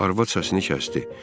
Arvad səsini kəsdi.